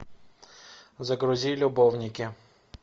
загрузи любовники